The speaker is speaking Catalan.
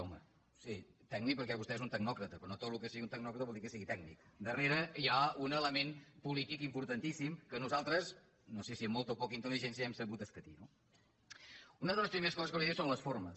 home sí tècnic perquè vostè és un tecnòcrata però no tot el que sigui d’un tecnòcrata vol dir que sigui tècnic darrere hi ha un element polític importantíssim que nosaltres no sé si amb molta o poca intel·ligència hem sabut escatir no una de les primeres coses que li diré són les formes